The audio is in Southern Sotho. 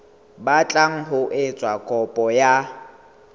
batlang ho etsa kopo ya